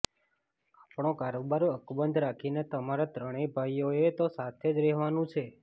આપણો કારોબાર અકબંધ રાખીને તમારે ત્રણેય ભાઈઓએ તો સાથે જ રહેવાનું છે